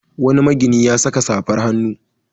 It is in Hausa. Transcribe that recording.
Wani magini ya saka safar hannu.